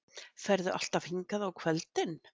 Ferðu alltaf hingað á kvöldin?